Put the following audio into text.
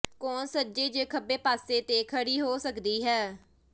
ਕੋਣ ਸੱਜੇ ਜ ਖੱਬੇ ਪਾਸੇ ਤੇ ਖੜੀ ਹੋ ਸਕਦੀ ਹੈ